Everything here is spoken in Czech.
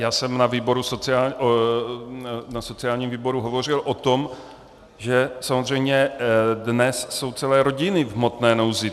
Já jsem na sociálním výboru hovořil o tom, že samozřejmě dnes jsou celé rodiny v hmotné nouzi.